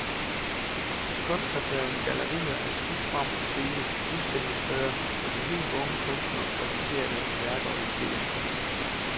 Kunstnerdrevne gallerier er skudt frem på stribe, udstillingssteder, hvor de helt unge kunstnere præsenterer deres værker og ideer.